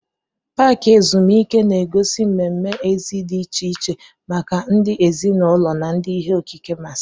Paaki ezumike na-egosi mmemme èzí dị iche iche maka ndị ezinụlọ na ndị ihe okike masịrị.